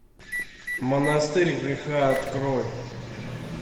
монастырь греха открой